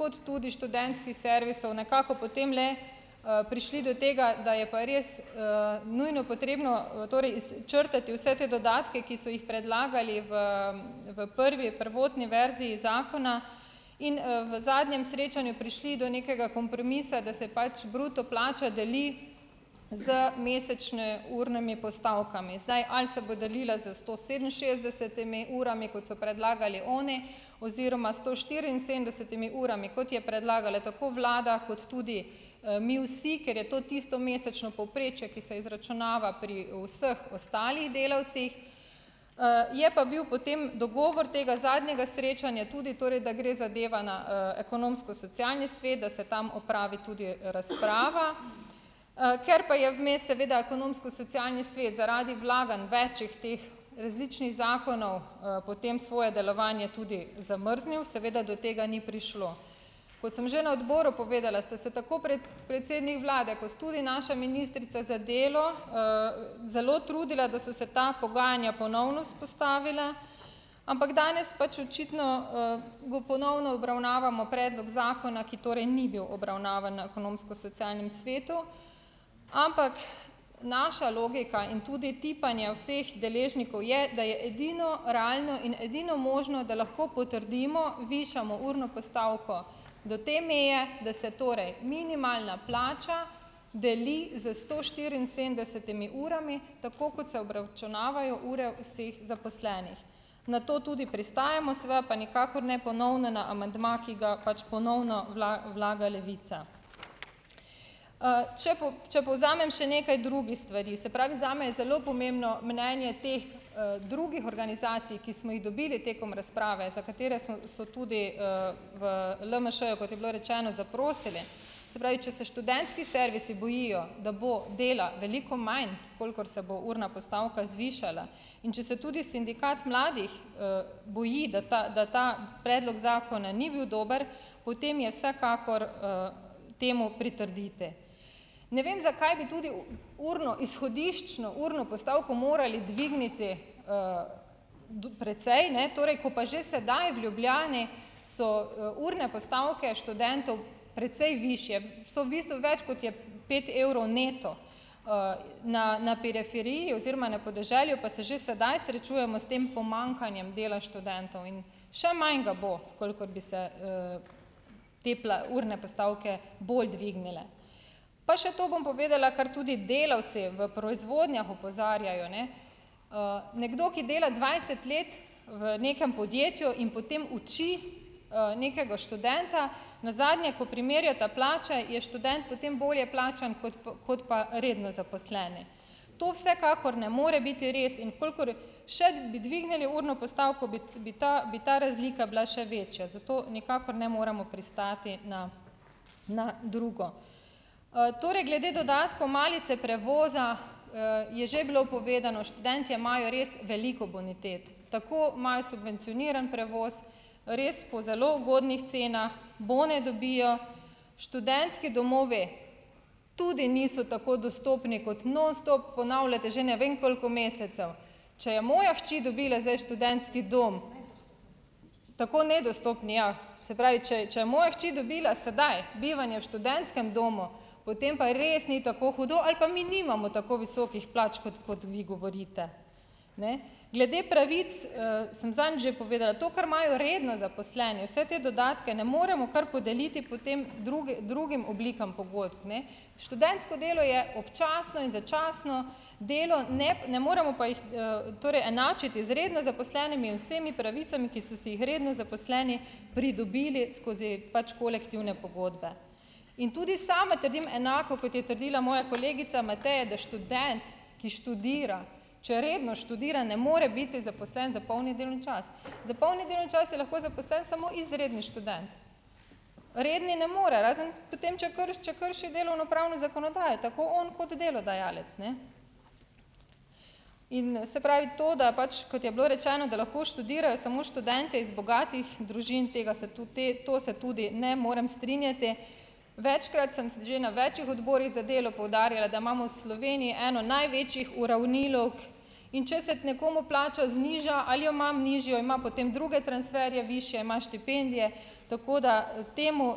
kot tudi študentskih servisov nekako potem le, prišli do tega, da je pa res, nujno potrebno, torej izčrtati vse te dodatke, ki so jih predlagali v v prvi prvotni verziji zakona in, v zadnjem srečanju prišli do nekega kompromisa, da se pač bruto plača deli z mesečne urnimi postavkami, zdaj, ali se bo delila z sto sedeminšestdesetimi urami, kot so predlagali oni, oziroma sto štiriinsedemdesetimi urami, kot je predlagala tako vlada kot tudi, mi vsi, ker je to tisto mesečno povprečje, ki se izračunava pri vseh ostalih delavcih, je pa bil potem dogovor tega zadnjega srečanja tudi torej, da gre zadeva na, ekonomsko socialni svet, da se tam opravi tudi razprava, ker pa je vmes seveda ekonomsko-socialni svet zaradi vlaganj več teh različnih zakonov, potem svoje delovanje tudi zamrznil, seveda do tega ni prišlo, kot sem že na odboru povedala, ste se tako predsednik vlade kot tudi naša ministrica za delo, zelo trudila, da so se ta pogajanja ponovno vzpostavila, ampak danes pač očitno, bo ponovno obravnavamo predlog zakona, ki torej ni bil obravnavan na ekonomsko-socialnem svetu, ampak naša logika in tudi tipanje vseh deležnikov je, da je edino realno in edino možno, da lahko potrdimo, višamo urno postavko do te meje, da se torej minimalna plača deli s sto štiriinsedemdesetimi urami, tako kot se obračunavajo ure vseh zaposlenih, na to tudi pristajamo, seveda pa nikakor ne ponovno na amandma, ki ga pač ponovno vlaga Levica, če če povzamem še nekaj drugih stvari, se pravi, zame je zelo pomembno mnenje teh, drugih organizacij, ki smo jih dobili tekom razprave, za katere so so tudi, v LMŠ-ju, kot je bilo rečeno, zaprosili, se pravi, če se študentski servisi bojijo, da bo dela veliko manj, kolikor se bo urna postavka zvišala, in če se tudi sindikat mladih, boji, da ta da ta predlog zakona ni bil dober, potem je vsekakor, temu pritrdite, ne vem, zakaj bi tudi urno izhodiščno urno postavko morali dvigniti, precej, ne, torej ko pa že sedaj v Ljubljani so urne postavke študentov, precej višje so v bistvu več, kot je pet evrov neto, na na periferiji oziroma na podeželju pa se že sedaj srečujemo s tem pomanjkanjem dela študentov in še manj ga bo, kolikor bi se, te urne postavke bolj dvignile, pa še to bom povedala, kar tudi delavci v proizvodnjah opozarjajo, ne, nekdo, ki dela dvajset let v nekem podjetju in potem uči, nekega študenta, nazadnje, ko primerjata plače, je študent potem bolje plačan kot kot pa redno zaposleni, to vsekakor ne more biti res, in v kolikor še bi dvignili urno postavko, bi ta bi ta razlika bila še večja, zato nikakor ne moremo pristati na na drugo, torej glede dodatkov malice, prevoza, je že bilo povedano, študentje imajo res veliko bonitet, tako imajo subvencioniran prevoz res po zelo ugodnih cenah, bone dobijo, študentski domovi, tudi niso tako dostopni, kot nonstop ponavljate že ne vem koliko mesecev, če je moja hči dobila zdaj študentski dom, tako nedostopni, ja, se pravi, če če je moja hči dobila sedaj bivanje v študentskem domu, potem pa res ni tako hudo ali pa mi nimamo tako visokih plač, kot kot vi govorite, ne, glede pravic, sem zadnjič že povedala, to, kar imajo redno zaposleni, vse te dodatke ne moremo kar podeliti potem druge drugim oblikam pogodb, ne, študentsko delo je občasno in začasno delo, ne, ne moremo pa jih, torej enačiti z redno zaposlenimi in vsemi pravicami, ki so si jih redni zaposleni pridobili skozi pač kolektivne pogodbe, in tudi sama trdim enako, kot je trdila moja kolegica Mateja, da študent, ki študira, če redno študira, ne more biti zaposlen za polni delovni čas, za polni delovni čas je lahko zaposlen samo izredni študent, redni ne more, razen potem, če če krši delovnopravno zakonodajo, tako on kot delodajalec, ne, in se pravi to, da pač kot je bilo rečeno, da lahko študirajo samo študenti iz bogatih družin, tega se tudi te to se tudi ne morem strinjati, večkrat sem že na večih odborih za delo poudarjala, da imamo Sloveniji eno največjih uravnilovk, in če se nekomu plača zniža ali jo ima nižjo, ima potem druge transferje višje, ima štipendije, tako da temu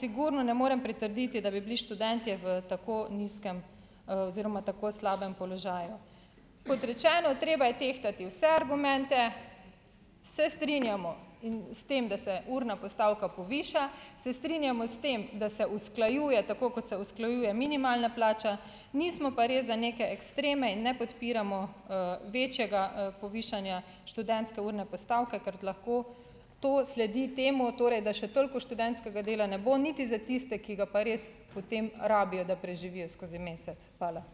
sigurno ne morem pritrditi, da bi bili študentje v tako nizkem, oziroma v tako slabem položaju, kot rečeno, treba je tehtati vse argumente, se strinjamo s tem, da se urna postavka poviša, se strinjamo s tem, da se usklajuje tako, kot se usklajuje minimalna plača, nismo pa res za neke ekstreme in ne podpiramo, večjega, povišanja študentske urne postavke, ker lahko to sledi temu, torej da še toliko študentskega dela ne bo niti za tiste, ki ga pa res potem rabijo, da preživijo skozi mesec, hvala.